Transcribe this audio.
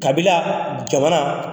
Kabila jamana